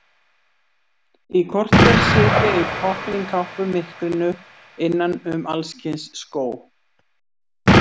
Í korter sit ég í popplínkápumyrkrinu innan um alls kyns skó.